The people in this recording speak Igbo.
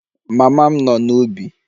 Mama m nọ n'ubi